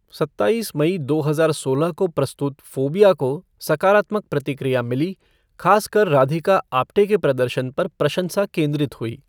सत्ताईस मई दो हज़ार सोलह को प्रस्तुत फ़ोबिया को सकारात्मक प्रतिक्रिया मिली, खास कर राधिका आप्टे के प्रदर्शन पर प्रशंसा केंद्रित हुई।